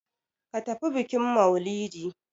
Ka tafi bikin mailidi!